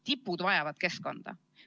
Tipud vajavad keskkonda.